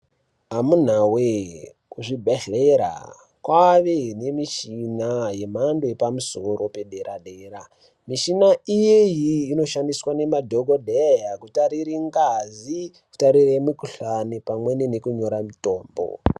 Amunawe kuzvibhehlera kwane muchina yemhando yepamusoro pederadera mushina inoshandiswa ngemadhokodheya kutarire ngazi ,kutarire mukuhlani pamweni nekunyora mutombo.